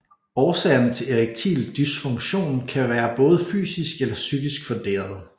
Årsagerne til erektil dysfunktion kan være både fysisk eller psykisk funderede